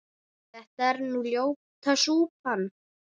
þetta er nú ljóta súpan